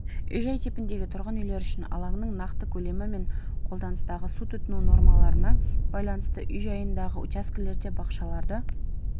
үй-жай типіндегі тұрғын үйлер үшін алаңның нақты көлемі мен қолданыстағы су тұтыну нормаларына байланысты үй жанындағы учаскелерде бақшаларды